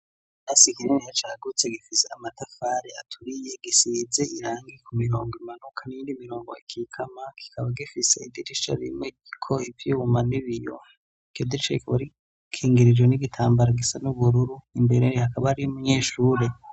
Ikirasi kiniya cagutse gifize amatafare aturiye gisize irangi ku mirongo imanuka n'indi mirongo ikikama kikaba gifise idirisha rimwe ko ibyiwuma n'ibiyo codicekbari kingirijo n'igitambaro gisa n'ubururu imbere rihakaba ari munyeshure.